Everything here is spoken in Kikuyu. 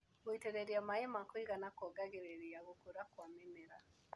Gũitĩrĩria maĩ makũigana kuongagĩrĩra gũkũra kwa mĩmera.